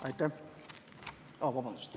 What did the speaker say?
Aitäh!